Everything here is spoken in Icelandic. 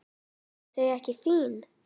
Eru þau ekki fín?